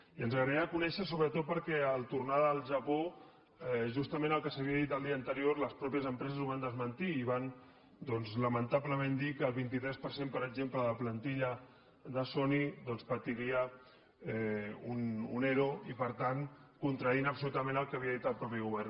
i ens agradaria conèixer la sobretot perquè en tornar del japó justament el que s’havia dit el dia anterior les pròpies empreses ho van desmentir i van doncs lamentablement dir que el vint tres per cent per exemple de la plantilla de sony doncs patiria un ero i per tant contradient absolutament el que havia dit el mateix govern